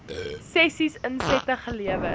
sessies insette gelewer